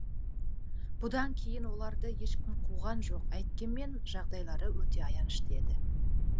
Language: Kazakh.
бұдан кейін оларды ешкім қуған жоқ әйткенмен жағдайлары өте аянышты еді